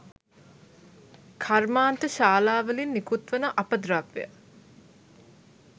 කර්මාන්ත ශාලාවලින් නිකුත්වන අපද්‍රව්‍ය